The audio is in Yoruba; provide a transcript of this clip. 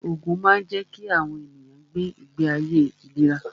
Ògùn máa ń jẹ́ kí àwọn ènìyàn gbé ìgbé ayé ìléra